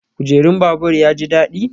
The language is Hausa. Kujerun babur ya ji daɗi?